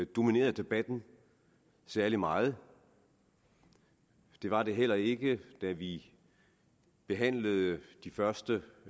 dominerede debatten særlig meget det var det heller ikke da vi behandlede de første